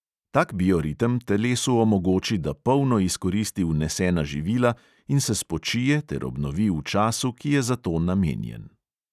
Tak bioritem telesu omogoči, da polno izkoristi vnesena živila in se spočije ter obnovi v času, ki je za to namenjen.